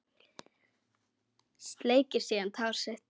Sleikir síðan tár sitt.